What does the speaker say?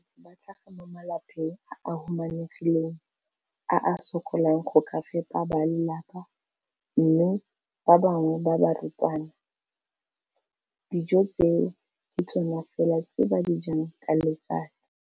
Bana ba le bantsi ba tlhaga mo malapeng a a humanegileng a a sokolang go ka fepa ba lelapa mme ba bangwe ba barutwana, dijo tseo ke tsona fela tse ba di jang ka letsatsi.